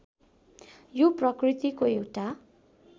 यो प्रकृतिको एउटा